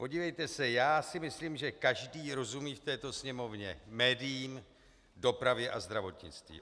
Podívejte se, já si myslím, že každý rozumí v této Sněmovně médiím, dopravě a zdravotnictví.